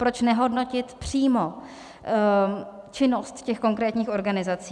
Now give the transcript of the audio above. Proč nehodnotit přímo činnost těch konkrétních organizací?